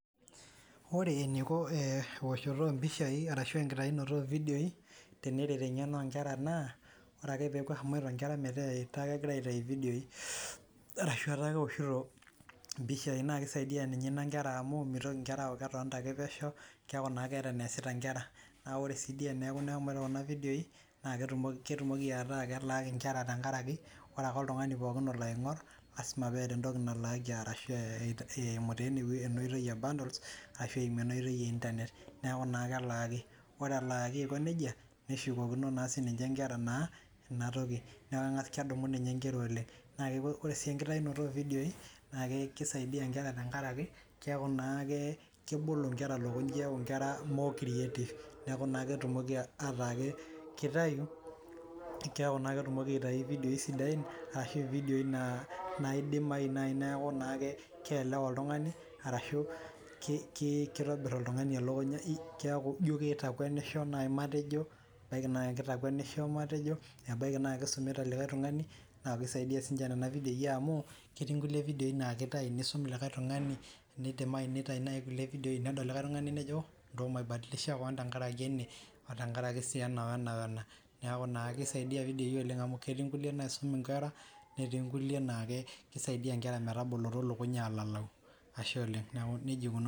Ore eneiko ewoshoto oompishai arashu enkitainoto ocidioii teneret eng'eno oonkera naa ore ake peepo aitai inkera metaa kegira iatai evidioi arashu ewoshoto oompishai naa keisaiya ninye inia inkera amuu meitoki inkera aaku ketonita ake pesheu, keaku naa keata ake neasita inkera, ore sii dei teneaku olomore oo kuna vidioi naa ketumoki meta kelaaki inker tengaraki ore ake ltungani pooki olo aing'orr lasima peata entoki nalaaki arashu eimu taa enaotei e [cs[bundles ashu eimu ena oitei e internet naaku naa kelaaki, ore elaaki aikoneja neshukokino sii ninche inkera naa enatoki, naa kedumu ninye inkers oleng, ore sii inkitainoto evidioi naa keisaidiya inkera tengaraki keaku naa kebol inkera lokunyiaa, eaku inkera more creative, naaku naa ketumoki ataake keitayui, keaku naa ketumoki aitayu vidio sidain arashu evidioi naidimai naaku naake keelewa eltungani arashu keitobirr oltungani olakunya, keaku ijo keitakuenisho naa matejo, ebaki naa keitakuenisho matejo, ebaki naa keisomita likae tungani matejo, naa keisadiya sii ninche nenia vidioi amuu ketiinkuke vidioi naa keitayu neisum likae tungani, neidimai naitayu naii nkule vidioii nedol likae tungani nejo nchuaki maibadilisha keon tengaraki ene oo tengaraki sii ena ona, ona ,naaku naa keisaidia vidioi oleng amu ketii nkule naisum inkera netii nkule naa keisaidiya inkera metubukutu lokuny aalalu, ashe oleng neaku neja eikununo.